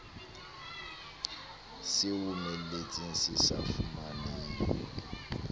se omeletseng se sa fumaneng